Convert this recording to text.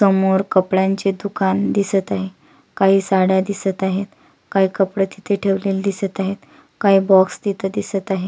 समोर कपड्यांचे दुकान दिसत आहे काही साड्या दिसत आहेत काही कपडे तिथे ठेवलेले दिसत आहेत काही बॉक्स तिथ दिसत आहे.